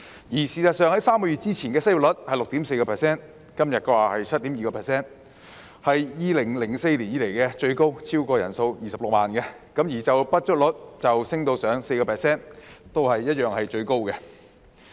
事實上 ，3 個月前的失業率是 6.4%， 而今天的是 7.2%， 是自2004年以來的最高位，失業人數超過26萬；而就業不足率亦升至 4%， 同樣都是最高位。